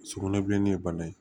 Sugunɛbilennin ye bana ye